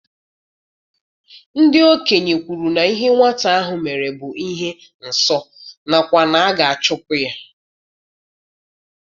Ndị okenye kwuru na ihe nwata ahụ mere bụ ihe nsọ nakwa na a ga-achụpụ ya.